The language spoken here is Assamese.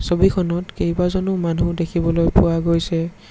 ছবিখনত কেইবাজনো মানুহ দেখিবলৈ পোৱা গৈছে।